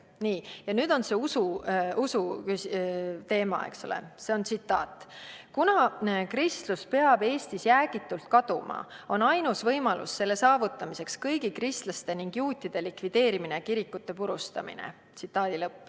" Nii, ja nüüd tuleb mängu usuteema, see on tsitaat: "Kuna kristlus peab Eestist jäägitult kaduma, on ainus võimalus selle saavutamiseks kõigi kristlaste ning juutide likvideerimine ja kirikute purustamine.